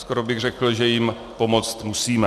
Skoro bych řekl, že jim pomoci musíme.